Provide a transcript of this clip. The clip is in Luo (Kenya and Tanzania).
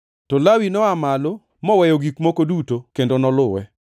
To Lawi noa malo, moweyo gik moko duto kendo noluwe.